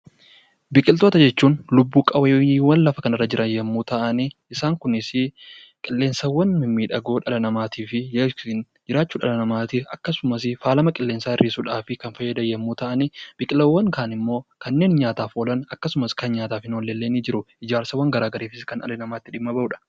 Biqiloota jechuun lubb-qabbeeyyii lafa kanarra jiran yommuu ta'an, Isaan Kunis qilleensa mimmiidhagoo dhala namaatiif jiraachuu dhala namaatiif akkasumas faalama qilleensaa ittisuudhaaf kan fayyadan yommuu ta'an, biqilaawwan kaan immoo kanneen nyaataaf oolan akkasumas kan nyaataaf hin oolle illee ni jirum